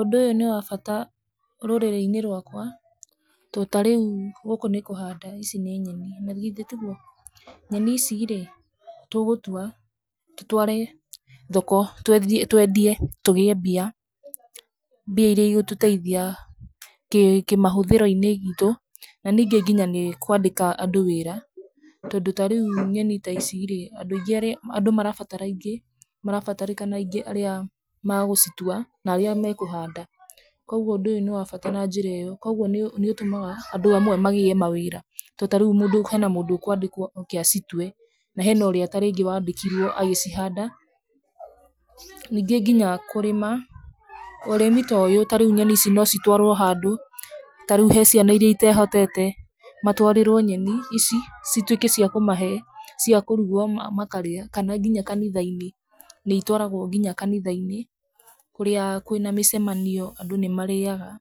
Ũndũ ũyũ nĩ wa bata rũrĩrĩ-inĩ rwakwa tondũ ta rĩu gũkũ nĩ kũhanda ici nĩ nyeni na githĩ tiguo. Nyeni ici rĩ tũgũtua tũtware thoko twendie tũgĩe mbia, mbia iria igũtũteithia kĩmahũthĩro-inĩ gitũ. Na ningĩ nginya nĩ ĩkwandika andũ wĩra tondũ ta rĩu nyeni ta ici andũ marabatara aingĩ marabatarĩkana aingĩ arĩa magũcitua na arĩa makũhanda. Koguo ũndũ ũyũ nĩ wa bata na njĩra ĩyo, koguo nĩ ũtũmaga andũ amwe magĩe mawĩra. Tondũ ta rĩu hena mũndũ ũgũka kwandĩkwo acitue na hena ũrĩa wandĩkirwo agĩcihanda. Ningĩ nginya kũrĩma ũrĩmi ta ũyũ tarĩu nyeni ici no citwarwo handũ tarĩu he ciana iria itehotete, matwarĩrwo nyeni ici cituike ciakũmahe ciuakũrugwo makarĩa. Kana nginya kanitha-inĩ nĩ itwaragwo kanitha-inĩ kũrĩa kwĩna mĩcemanio andũ nĩ marĩaga,